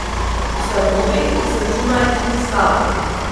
Ustanovi, izračunaj in izstavi.